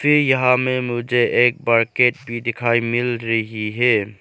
ये यहां में मुझे एक बकेट भी दिखाई मिल रही है।